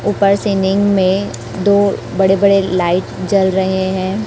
ऊपर सीनिंग में दो बड़े बड़े लाइट जल रहे हैं।